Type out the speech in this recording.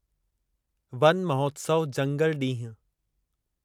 one Mahotsav जंगलु ॾींहुं